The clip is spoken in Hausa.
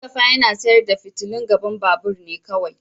Mustapha yana sayar da fitilun gaban babur ne kawai.